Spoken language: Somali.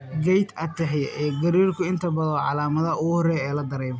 Gait ataxia iyo gariirku inta badan waa calaamadaha ugu horreeya ee la dareemo.